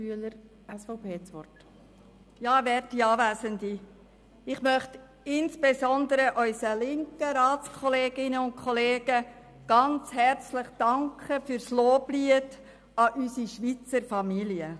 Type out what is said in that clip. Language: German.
Ich möchte insbesondere unseren linken Ratskolleginnen und -kollegen ganz herzlich danken für das Loblied auf unsere Schweizer Familie.